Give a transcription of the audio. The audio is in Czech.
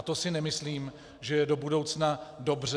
A to si nemyslím, že je do budoucna dobře.